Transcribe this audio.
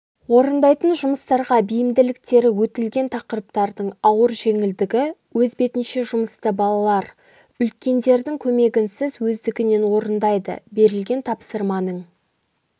орындайтын жұмыстарға бейімділіктері өтілген тақырыптардың ауыр-жеңілдігі өз бетінше жұмысты балалар үлкендердің көмегінсіз өздігінен орындайды берілген тапсырманың